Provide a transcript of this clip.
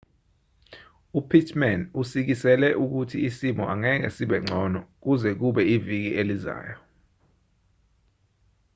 upittman usikisele ukuthi isimo angeke sibe ngcono kuze kube iviki elizayo